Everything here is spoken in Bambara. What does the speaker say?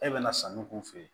E bɛna sanu k'u fɛ yen